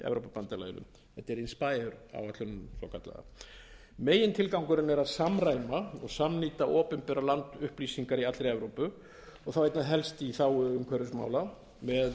evrópubandalaginu þetta er inspayer áætlunin svokallaða megintilgangurinn er að samræma og samnýta opinbera landupplýsingar í allri evrópu og þá einna helst í þágu umhverfismál með